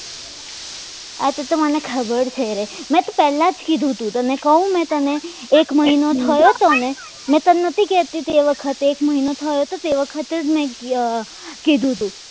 આ તો મને ખબર છે મેં તો તમને પહેલા જ કીધું હતું તમને કહું મને એક મહિનો થયો તને મેં તને નથી કહેતી તે વખતે એક મહિનો થયો તો તે વખત જ મેં કીધું હતું